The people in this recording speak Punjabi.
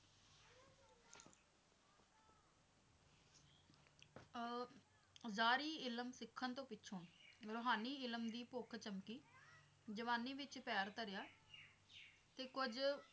ਅਹ ਅਵਜਾਰੀ ਇਲਮ ਸਿੱਖਣ ਤੋਂ ਪਿੱਛੋਂ ਰੂਹਾਨੀ ਇਲਮ ਦੀ ਭੁੱਖ ਚਮਕੀ ਜਵਾਨੀ ਵਿੱਚ ਪੈਰ ਧਰਿਆ ਤੇ ਕੁੱਝ